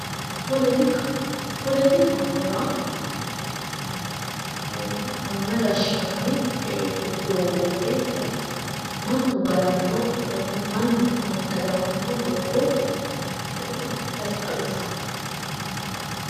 Politika, polotikaho yaa manna gashshinanni doogooti woy mannu galanno mannu massagamanno doogo ikkasi xawissanno.